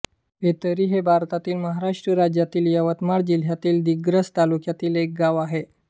फेतरी हे भारतातील महाराष्ट्र राज्यातील यवतमाळ जिल्ह्यातील दिग्रस तालुक्यातील एक गाव आहे